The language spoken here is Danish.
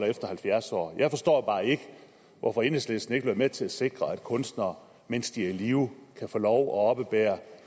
efter halvfjerds år jeg forstår bare ikke hvorfor enhedslisten ikke vil være med til at sikre at kunstnere mens de er i live kan få lov oppebære